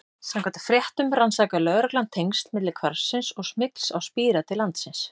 Samkvæmt fréttum rannsakaði lögreglan tengsl milli hvarfsins og smygls á spíra til landsins.